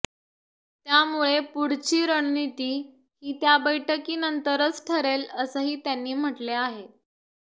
त्यामुळे पुढची रणनीती ही त्या बैठकीनंतरच ठरेल असंही त्यांनी म्हटले आहे